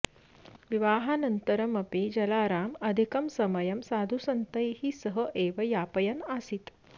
विवाहानन्तरम् अपि जलाराम अधिकं समयं साधुसन्तैः सह एव यापयन् आसीत्